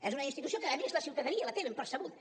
és una institució que a més la ciutadania la té ben percebuda